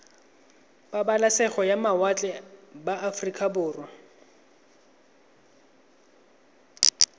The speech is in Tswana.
pabalesego ya mawatle ba aforika